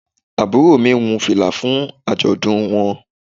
Àbúrò mi wun fìlà fún àjọ̀dún wọn.